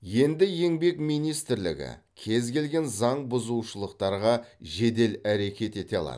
енді еңбек министрлігі кез келген заңбұзушылықтарға жедел әрекет ете алады